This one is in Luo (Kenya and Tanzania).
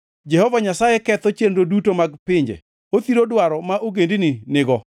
Jehova Nyasaye ketho chenro duto mag pinje; othiro dwaro ma ogendini nigo.